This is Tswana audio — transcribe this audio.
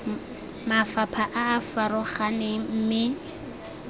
mafapha a a farologaneng mme